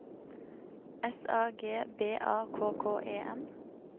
S A G B A K K E N